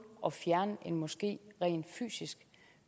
at fjerne en moské rent fysisk